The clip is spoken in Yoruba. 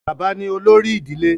bàbá ni olórí ìdílé